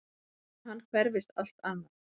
Um hann hverfist allt annað.